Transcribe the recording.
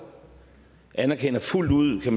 anerkender fuldt ud